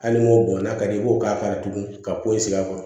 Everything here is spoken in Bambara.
Hali n'o bɔnna ka d'i ye i b'o k'a la tugun ka ko in sigi a kɔrɔ